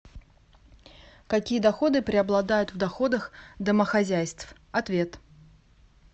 какие доходы преобладают в доходах домохозяйств ответ